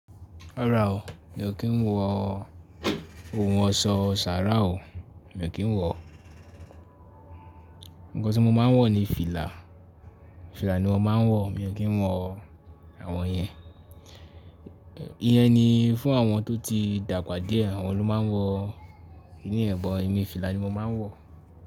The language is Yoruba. Rárá o, mi ò kí ń wọ ohun ọ̀ṣọ́ sàráà o, mi ò kí ń wọ. Ǹkan tí mo máa ń wọ ni fìlà. Fìlà ni mo máa ń wọ, mi ò kí ń wọ àwọn yẹn. Ìyẹn ni fún àwọn tó ti dàgbà díẹ̀, àwọn ló máa ń wọ. Ní emi, fìlà ni mo máa ń wọ.